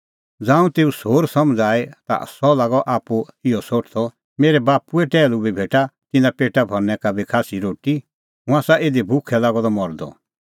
ज़ांऊं तेऊ सोर समझ़ आई ता सह लागअ आप्पू इहअ सोठदअ मेरै बाप्पूए टैहलू बी भेटा तिन्नें पेटा भरनै का बी खास्सी रोटी हुंह आसा इधी भुखै लागअ द मरदअ